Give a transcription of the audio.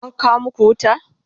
an kawo maku wuta?